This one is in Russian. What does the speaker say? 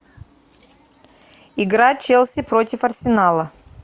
игра челси против арсенала